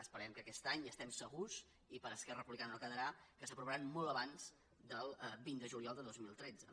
esperem que aquest any n’estem segurs i per esquerra republicana no quedarà s’aprovaran molt abans del vint de juliol de dos mil tretze